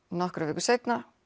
nokkrum vikum seinna